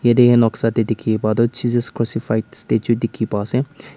yate noksa teh dikhi pai toh jesus crucified statue dikhi pa se--